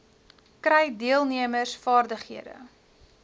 kry deelnemers vaardighede